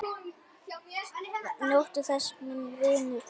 Njóttu þess, minn vinur.